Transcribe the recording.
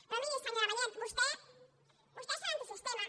però miri senyora vallet vostès són antisistema